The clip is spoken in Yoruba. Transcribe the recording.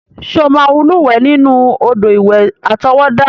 Ṣé o máa lúwẹ̀ẹ́ nínú odò ìwẹ̀ àtọwọ́dá?